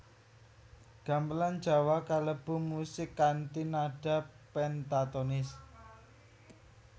Gamelan Jawa kalebu musik kanthi nada pentatonis